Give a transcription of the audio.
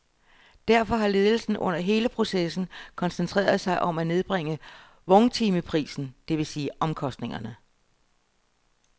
Derfor har ledelsen under hele processen koncentreret sig om at nedbringe vogntimeprisen, det vil sige omkostningerne.